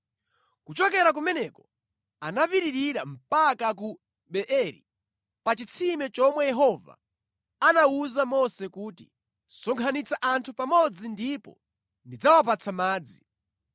Kuchokera kumeneko anapitirira mpaka ku Beeri, pa chitsime chomwe Yehova anawuza Mose kuti, “Sonkhanitsa anthu pamodzi ndipo ndidzawapatsa madzi.”